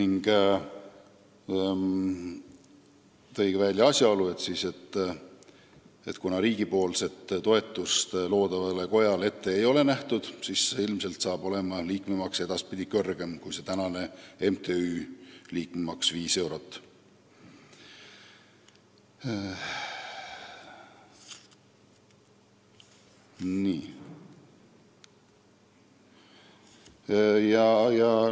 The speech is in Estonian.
Ta tõi välja asjaolu, et kuna riigi toetust loodavale kojale ette ei ole nähtud, siis ilmselt hakkab liikmemaks olema edaspidi kõrgem kui praeguse MTÜ liikmemaks viis eurot.